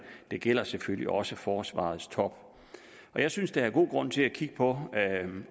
det gælder selvfølgelig også forsvarets top jeg synes der er god grund til at kigge på